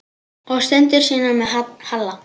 Og stundir sínar með Halla.